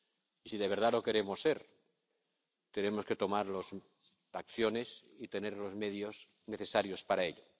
Y si de verdad lo queremos ser tenemos que tomar las medidas y tener los medios necesarios para ello.